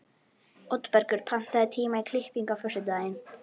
Oddbergur, pantaðu tíma í klippingu á föstudaginn.